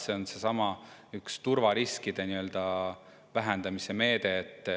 See on üks turvariskide vähendamise meede.